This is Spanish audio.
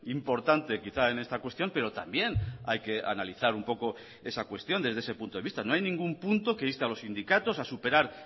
importante quizá en esta cuestión pero también hay que analizar un poco esa cuestión desde ese punto de vista no hay ningún punto que inste a los sindicatos a superar